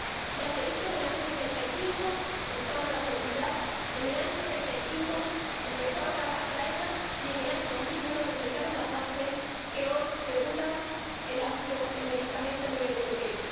Ya se hizo en el año 65 en torno a la seguridad, en el año 95 empezó a trabajar la EMA y en el año 2001 se sentaron las bases que hoy regulan el ámbito del medicamento a nivel europeo.